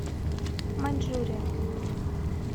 маньчжурия